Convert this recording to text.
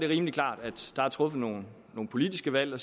rimelig klart at der er truffet nogle politiske valg der